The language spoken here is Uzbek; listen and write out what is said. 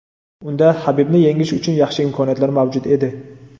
Unda Habibni yengish uchun yaxshi imkoniyatlar mavjud edi.